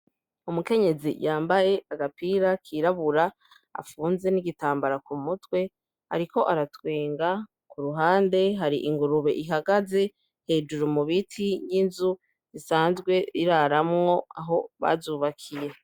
Umukenyezi yambaye agapira kirabura afunze n'igitambara ku mutwe ariko aratwenga, ku ruhande hari ingurube ihagaze hejuru mu biti y'inzu isanzwe iraramwo aho bazubakiye.